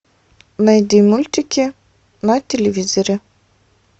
найди мультики на телевизоре